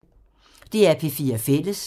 DR P4 Fælles